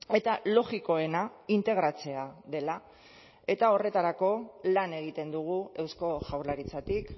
eta logikoena integratzea dela eta horretarako lan egiten dugu eusko jaurlaritzatik